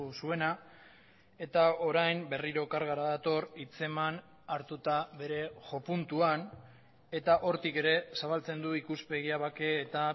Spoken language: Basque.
zuena eta orain berriro kargara dator hitzeman hartuta bere jo puntuan eta hortik ere zabaltzen du ikuspegia bake eta